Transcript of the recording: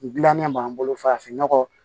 N dilannen b'an bolo farafin nɔgɔ